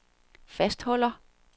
fastholder